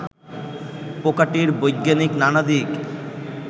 পোকাটির বৈজ্ঞানিক নানা দিক